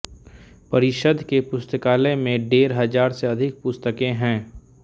परिषद के पुस्तकालय में डेढ़ हजार से अधिक पुस्तकें हैं